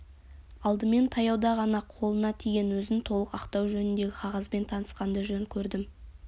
алдымен таяуда ғана қолына тиген өзін толық ақтау жөніндегі қағазбен танысқанды жөн көрдім